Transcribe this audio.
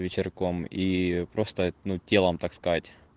вечерком и просто ну телом так сказать